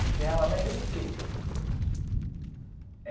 Enterrava lá em Juriti.